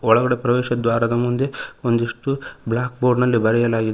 ಒಳಗಡೆ ಪ್ರವೇಶದ್ವಾರದ ಮುಂದೆ ಒಂದಿಷ್ಟು ಬ್ಲಾಕ್ ಬೋರ್ಡ ನಲ್ಲಿ ಬರೆಯಲಾಗಿದೆ.